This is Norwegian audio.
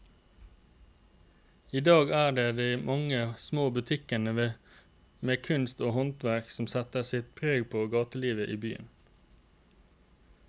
I dag er det de mange små butikkene med kunst og håndverk som setter sitt preg på gatelivet i byen.